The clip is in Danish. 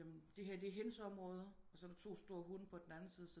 Jamen det her er hendes område og så er der to store hunde på den anden side